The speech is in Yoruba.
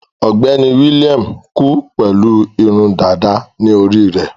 Ọ̀gbẹ́ni William kú pẹ̀lú irun dàda ní orí rẹ̀.